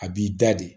A b'i da de